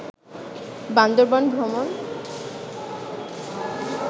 বান্দরবন ভ্রমন